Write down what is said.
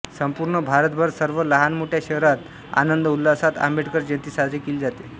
संपूर्ण भारतभर सर्व लहानमोठ्या शहरांत आनंदउल्हासात आंबेडकर जयंती साजरी केली जाते